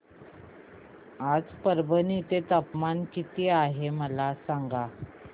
आज परभणी चे तापमान किती आहे मला सांगा